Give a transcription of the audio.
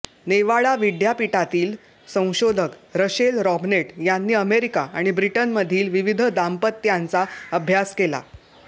Nevada विद्यापीठातील संशोधक Rachel Robnett यांनी अमेरिका आणि ब्रिटनमधील विविध दाम्पत्यांचा अभ्यास केला